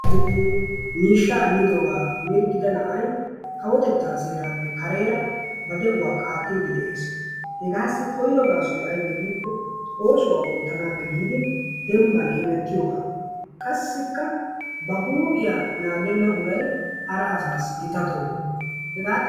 Miishshaa immidoogaa mirggidda na'ay kawotettaa seeraappe kareera de'uwa qaattidi de'ees, hagaassi koyro gaasoy aybee giikko oosuwa oottanaappe giidi dembban hemettiyoga qassikka ba huuphphiya naagenna uray I hara asaassi gita toho hega xalla...